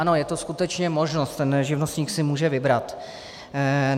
Ano, je to skutečně možnost, ten živnostník si může vybrat.